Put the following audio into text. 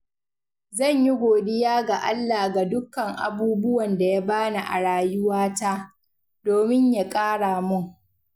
Zan yi godiya ga Allah ga dukkan abubuwan da Ya bani a rayuwata, domin Ya ƙara mun.